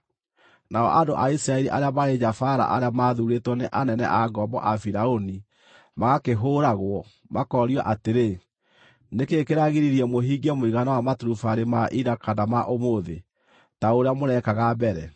Nao andũ a Isiraeli arĩa maarĩ nyabaara arĩa maathuurĩtwo nĩ anene a ngombo a Firaũni magakĩhũũragwo, makoorio atĩrĩ, “Nĩ kĩĩ kĩragiririe mũhingie mũigana wa maturubarĩ ma ira kana ma ũmũthĩ, ta ũrĩa mũrekaga mbere?”